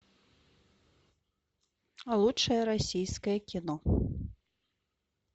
лучшее российское кино